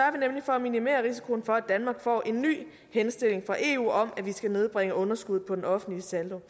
for at minimere risikoen for at danmark får en ny henstilling fra eu om at vi skal nedbringe underskuddet på den offentlige saldo